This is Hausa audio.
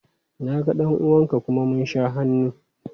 Na ga ɗan uwan ka kuma mun sha hannu.